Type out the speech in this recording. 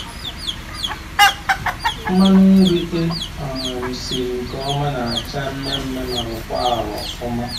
Mmanụ nri e um siri nke ọma na-acha mmee mmee ma rọkwaa arọ ọfụma.